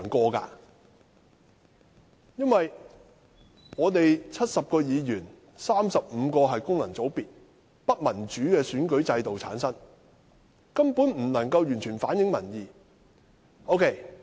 在立法會70名議員中 ，35 名議員來自功能界別，由不民主的選舉制度產生，根本不能夠完全反映民意。